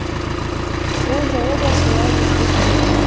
бұл жолы да солай етпек болды